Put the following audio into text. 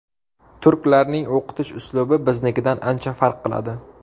Turklarning o‘qitish uslubi biznikidan ancha farq qiladi.